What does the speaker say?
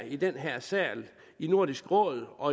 i den her sal i nordisk råd og